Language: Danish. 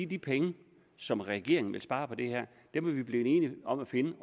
de penge som regeringen vil spare på det her er vi blevet enige om at finde